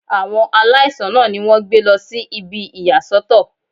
Àwọn aláìsàn náà ni wọ́n gbé lọ sí ibi ìyà sọ́tọ̀.